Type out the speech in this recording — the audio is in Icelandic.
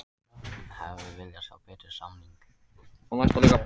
Hefði viljað sjá betri samning